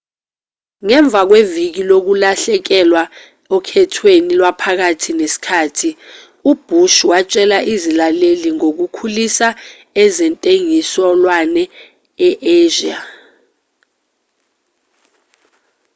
ngemva kweviki lokulahlekelwa okhethweni lwaphakathi nesikhathi ubhush watshela izilaleli ngokukhulisa ezentengiselwano e-asia